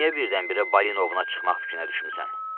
Bəs niyə birdən-birə Balinuna çıxmaq fikrinə düşmüsən?